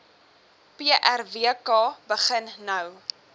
prwk begin nou